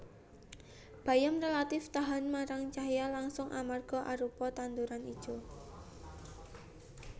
Bayem rélatif tahan marang cahya langsung amarga arupa tanduran ijo